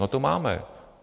No to máme.